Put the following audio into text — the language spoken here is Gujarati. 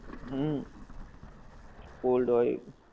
હમ cold હોએ